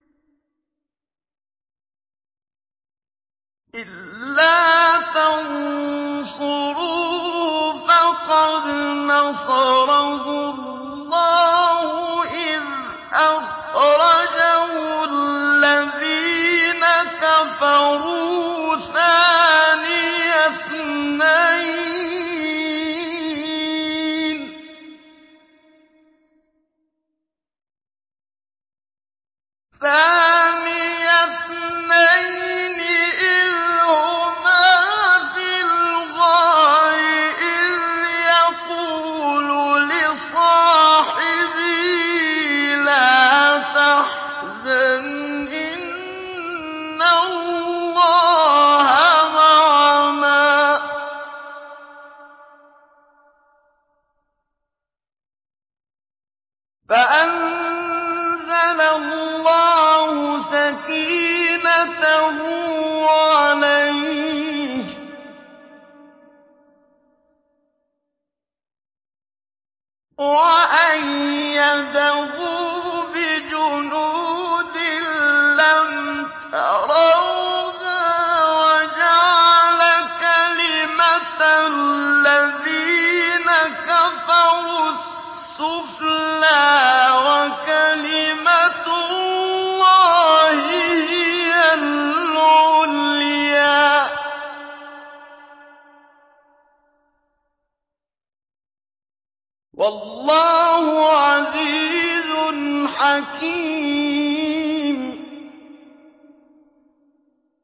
إِلَّا تَنصُرُوهُ فَقَدْ نَصَرَهُ اللَّهُ إِذْ أَخْرَجَهُ الَّذِينَ كَفَرُوا ثَانِيَ اثْنَيْنِ إِذْ هُمَا فِي الْغَارِ إِذْ يَقُولُ لِصَاحِبِهِ لَا تَحْزَنْ إِنَّ اللَّهَ مَعَنَا ۖ فَأَنزَلَ اللَّهُ سَكِينَتَهُ عَلَيْهِ وَأَيَّدَهُ بِجُنُودٍ لَّمْ تَرَوْهَا وَجَعَلَ كَلِمَةَ الَّذِينَ كَفَرُوا السُّفْلَىٰ ۗ وَكَلِمَةُ اللَّهِ هِيَ الْعُلْيَا ۗ وَاللَّهُ عَزِيزٌ حَكِيمٌ